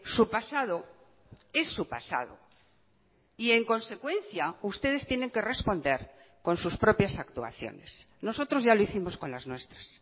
su pasado es su pasado y en consecuencia ustedes tienen que responder con sus propias actuaciones nosotros ya lo hicimos con las nuestras